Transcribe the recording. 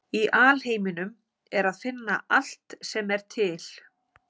Í alheiminum er að finna allt sem er til.